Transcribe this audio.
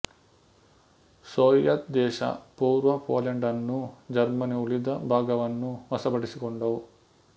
Soviet ದೇಶ ಪೂರ್ವ ಪೋಲೆಂಡನ್ನೂ ಜರ್ಮನಿ ಉಳಿದ ಭಾಗವನ್ನೂ ವಶಪಡಿಸಿಕೊಂಡವು